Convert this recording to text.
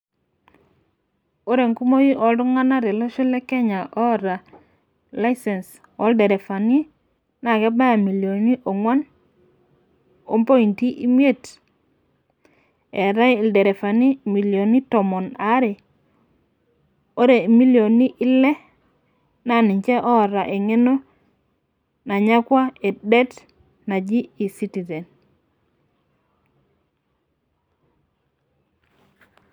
ore enkumoi oo iltunganak tolosho lekenya ota license oo ilerefani naa kebaya imilioni ong'uan ompointi imiet, etae ilerefani imilioni tomon aare, ore imilioni ile naa niche loota egeno e ecitizen.